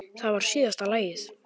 Það var síðasta lagið.